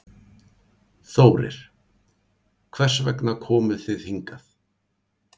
Þórir: Hvers vegna komu þið hingað?